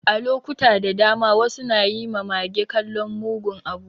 A lokuta da dama, wasu na yi ma mage kallon mugun abu.